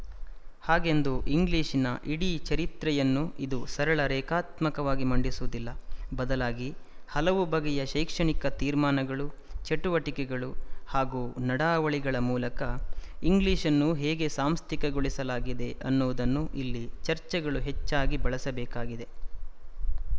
ಹಾಗೆಂದು ಇಂಗ್ಲಿಶಿನ ಇಡೀ ಚರಿತ್ರೆಯನ್ನು ಇದು ಸರಳ ರೇಖಾತ್ಮಕವಾಗಿ ಮಂಡಿಸುವುದಿಲ್ಲ ಬದಲಾಗಿ ಹಲವು ಬಗೆಯ ಶೈಕ್ಷಣಿಕ ತೀರ್ಮಾನಗಳು ಚಟುವಟಿಕೆಗಳು ಹಾಗೂ ನಡಾವಳಿಗಳ ಮೂಲಕ ಇಂಗ್ಲಿಶ್‌ ಅನ್ನು ಹೇಗೆ ಸಾಂಸ್ಥಿಕಗೊಳಿಸಲಾಗಿದೆ ಅನ್ನುವುದನ್ನು ಇಲ್ಲಿ ಚರ್ಚೆಗಳು ಹೆಚ್ಚಾಗಿ ಬೆಳಸಬೇಕಾಗಿದೆ